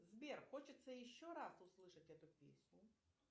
сбер хочется еще раз услышать эту песню